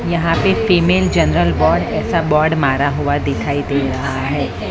यहां पे female general ward ऐसा बोर्ड मारा हुआ दिखाई दे रहा है।